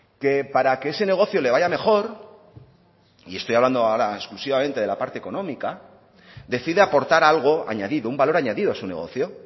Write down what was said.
que para que ese negocio le vaya mejor y estoy hablando ahora exclusivamente de la parte económica decide aportar algo añadido un valor añadido a su negocio